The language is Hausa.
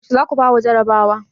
Yaushe za ku fara jarrabawa?